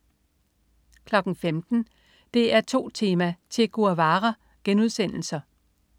15.00 DR2 Tema: Che Guevara*